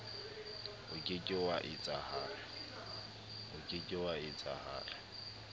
o ke ke wa etsahala